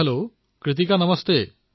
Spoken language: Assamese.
হেল্ল কৃতিকা নমস্কাৰ